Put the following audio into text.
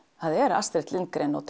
það er Astrid Lindgren og